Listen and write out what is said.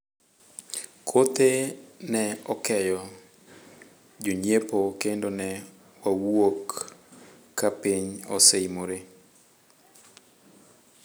kothe ne okeyo jonyiepo kendo ne wawuok ka piny oseimore